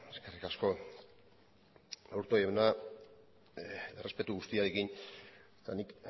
eskerrik asko aburto jauna errespetu guztiarekin eta nik